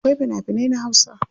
Akwai fina finai na hausa.